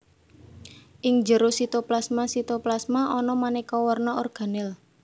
Ing njero sitoplasmaSitoplasma ana manéka warna organel